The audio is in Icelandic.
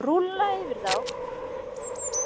Rúlla yfir þá!